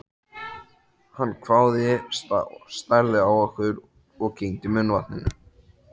Hann hváði, starði á okkur og kyngdi munnvatni.